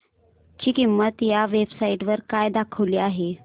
ची किंमत या वेब साइट वर काय दाखवली आहे